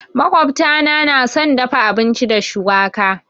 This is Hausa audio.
Makwabta na nà son dafa abinci da shuwaka.